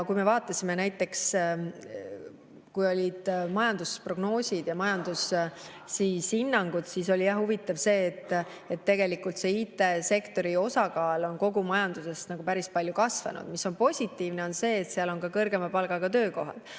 Kui me vaatasime näiteks majandusprognoose ja majandushinnanguid, siis oli huvitav see, et tegelikult IT-sektori osakaal kogu majanduses on päris palju kasvanud, mis on positiivne, sest seal on kõrgema palgaga töökohad.